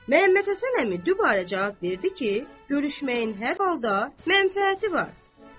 Məhəmmədhəsən əmi dübarə cavab verdi ki, görüşməyin hər halda mənfəəti var.